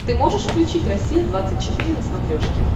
ты можешь включить россия двадцать четыре на смотрешке